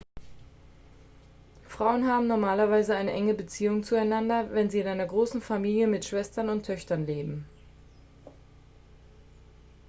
frauen haben normalerweise eine enge beziehung zueinander wenn sie in einer großen familie mit schwestern und töchtern leben